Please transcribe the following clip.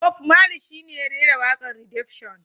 Bob marley shi ne ya rera wakar Redemption.